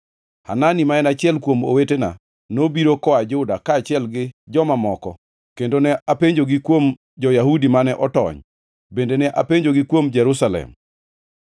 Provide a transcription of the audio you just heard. Hanani, ma en achiel kuom owetena, nobiro koa Juda kaachiel gi joma moko, kendo ne apenjogi kuom jo-Yahudi mane otony, bende ne apenjogi kuom Jerusalem.